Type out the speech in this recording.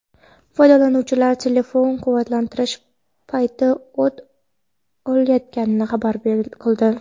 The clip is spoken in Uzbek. Foydalanuvchilar telefonlar quvvatlantirish payti o‘t olayotganini xabar qildi.